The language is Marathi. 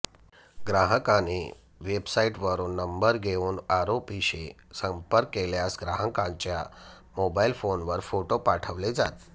ग्राहकांनी वेबसाइटवरून नंबर घेऊन आरोपींशी संपर्क केल्यास ग्राहकांच्या मोबाइल फोनवर फोटो पाठवले जात